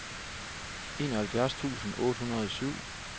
enoghalvfjerds tusind otte hundrede og syv